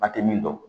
A tɛ min dɔn